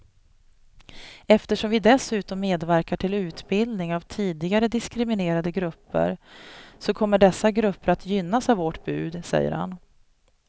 Eftersom vi dessutom medverkar till utbildning av tidigare diskriminerade grupper så kommer dessa grupper att gynnas av vårt bud, säger han.